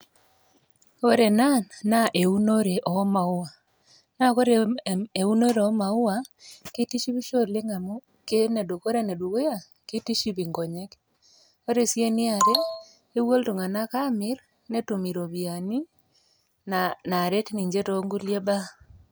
ore ena naa eunore omaua naa kore eunore omaua kitishipisho oleng amu kore enedukuya kitiship inkonyek ore sii eniare kepuo iltung'anak amirr netum iropiyiani naaret ninche tonkulie baa.